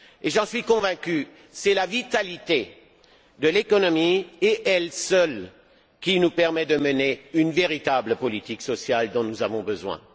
J'en suis convaincu, c'est la vitalité de l'économie et elle seule qui nous permet de mener la véritable politique sociale dont nous avons besoin.